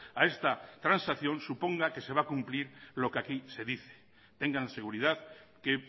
a esta transacción suponga que se va a cumplir lo que aquí se dice tengan seguridad que